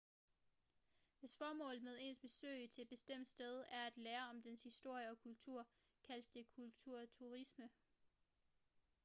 hvis formålet med ens besøg til et bestemt sted er at lære om dets historie eller kultur kaldes det kulturturisme